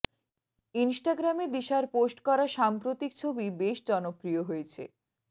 ইনস্টাগ্রামে দিশার পোস্ট করা সাম্প্রতিক ছবি বেশ জনপ্রিয় হয়েছে